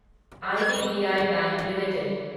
I D B I bank limited